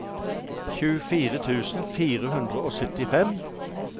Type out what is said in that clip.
tjuefire tusen fire hundre og syttifem